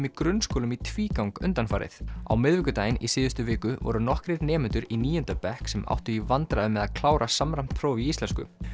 í grunnskólum í tvígang undanfarið á miðvikudaginn í síðustu viku voru nokkrir nemendur í níunda bekk sem áttu í vandræðum með að klára samræmt próf í íslensku